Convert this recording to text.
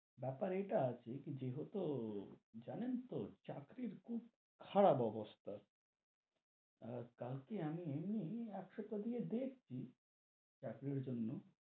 বেপার এইটা আছে, কি যেতো, জানেন তো চাকরির খুব খারাপ অবস্থা, আহ কালকে আমি চালিয়ে দেখছি, চাকরির জন্য,